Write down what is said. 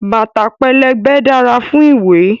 Bàtà pẹlẹbẹ dára fún ìwẹ̀.